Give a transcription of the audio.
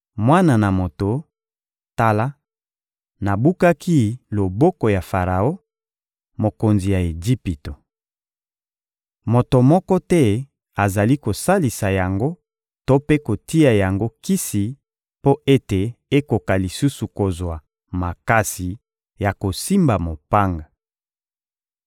«Mwana na moto, tala; nabukaki loboko ya Faraon, mokonzi ya Ejipito! Moto moko te azali kosalisa yango to mpe kotia yango kisi mpo ete ekoka lisusu kozwa makasi ya kosimba mopanga.